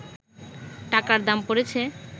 টাকার দাম পড়েছে